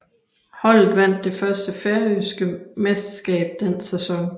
Holdet vandt det færøske mesterskab den sæson